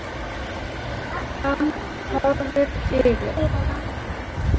Hann horfir yfir